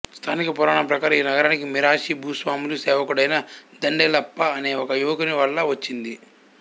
స్థానిక పురాణం ప్రకారం ఈ నగరానికి మిరాషి భూస్వాముల సేవకుడైన దండేలప్ప అనే ఒక యువకుని వల్ల వచ్చింది